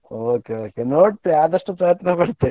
Okay okay ನೋಡ್ತೇ ಆದಷ್ಟು ಪ್ರಯತ್ನ ಪಡ್ತೇ.